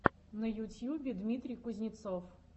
на ютьюбе дмитрий кузнецов